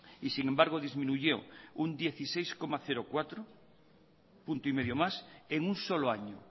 y sin embargo disminuyó un dieciséis coma cuatro punto y medio más en un solo año